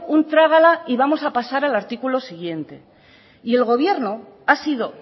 un trágala y vamos a pasar al artículo siguiente y el gobierno ha sido